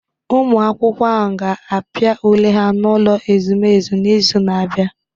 Ụmụ akwụkwọ ahụ ga-apịa ule ha n'ụlọ ezumezu n'izu na-abịa